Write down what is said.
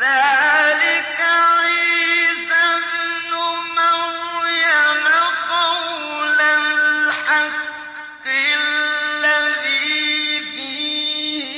ذَٰلِكَ عِيسَى ابْنُ مَرْيَمَ ۚ قَوْلَ الْحَقِّ الَّذِي فِيهِ